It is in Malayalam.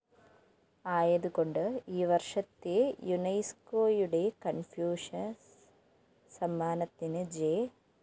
ആയത് കൊണ്ട് ഈ വര്‍ഷത്തെ യുനൈസ്‌കോയുടെ കണ്‍ഫ്യൂഷ്യസ് സമ്മാനത്തിന് ജെ